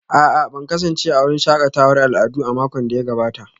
A'a ban kasance a wurin shakatawar al'adu a makon da ya gabata